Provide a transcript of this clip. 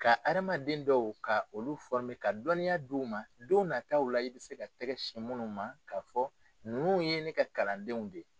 Ka hadamaden dɔw ka olu ka dɔnniya di u ma don na taaw' la i bɛ se ka tɛgɛ sin munnu ma k'a fɔ nunnu ye ne ka kalandenw de ye.